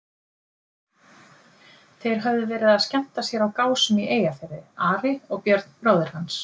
Þeir höfðu verið að skemmta sér á Gásum í Eyjafirði, Ari og Björn bróðir hans.